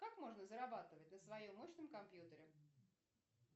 как можно зарабатывать на своем мощном компьютере